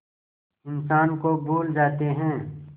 इंसान को भूल जाते हैं